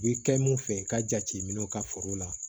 U bɛ kɛ mun fɛ i ka jateminɛw ka foro la